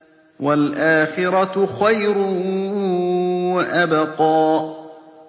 وَالْآخِرَةُ خَيْرٌ وَأَبْقَىٰ